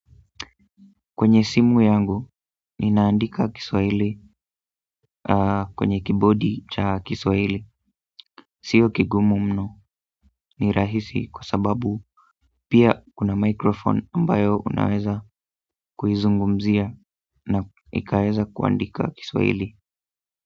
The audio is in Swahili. Kwenye simu yangu, ninaandika kiswahili kwenye kibodi cha kiswahili sio kigumu mno ni rahisi kwa sababu pia kuna microphone ambayo unaweza kuizungumzia na ikaeza kuandika kiswahili.